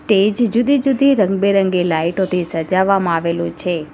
તે જ જુદી જુદી રંગબેરંગી લાઈટોથી સજાવવામાં આવેલું છે.